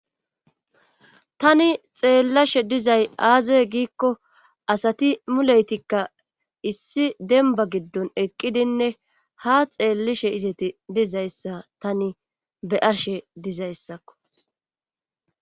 Tani xeellashe dizay aazay giikko asati muleytikka issi denba giddon eqqidinne ha xeellishe izeti dizayssa tani be arshe dizayssakko.